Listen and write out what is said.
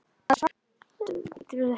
Maður er sáttur.